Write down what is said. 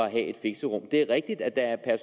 at have et fixerum det er rigtigt at der er